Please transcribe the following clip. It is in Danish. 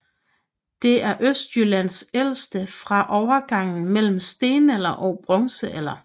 Det er Østjyllands ældste fra overgangen mellem stenalder og bronzealder